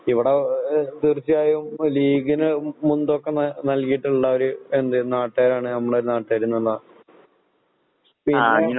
ഇവടെ എഹ് തീർച്ചയായും ലീഗിന് മുൻ‌തൂക്കം ന നൽകീട്ട്ള്ള ഒര് എന്ത് നാട്ട്കാരാണ് നമ്മളെ നാട്ട്കാര്ന്നറഞ്ഞാ. പിന്നെ